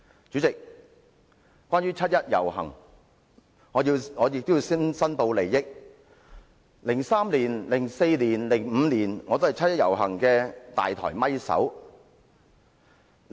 主席，關於七一遊行，我要申報 ，2003 年、2004年和2005年我都是七一遊行的"大台咪手"。